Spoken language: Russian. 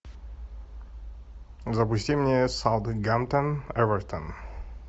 запусти мне саутгемптон эвертон